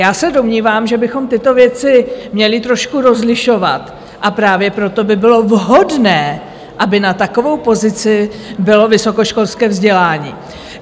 Já se domnívám, že bychom tyto věci měli trošku rozlišovat, a právě proto by bylo vhodné, aby na takovou pozici bylo vysokoškolské vzdělání.